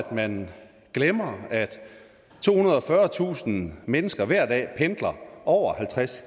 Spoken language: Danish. man glemmer at tohundrede og fyrretusind mennesker hver dag pendler over halvtreds